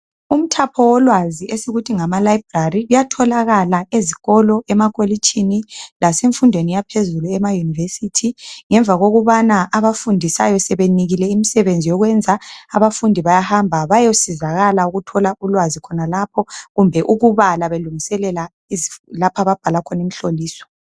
Umthapho wolwazi esikuthi ngama library kuyatholakala ezikolo, emakolitshini lasemfundweni yaphezulu ema university ngemva kokubana abafundisayo sebenikile imisebenzi yokwenza abafundi bayahamba bayosizakala ukuthola ulwazi khonalapho kumbe ukubala belungiselela lapha ababhala khona imihloliso